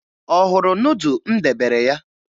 Ọ hụrụ nudụ m debere ya?